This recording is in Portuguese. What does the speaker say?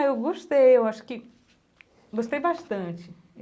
Ah, eu gostei, eu acho que... Gostei bastante.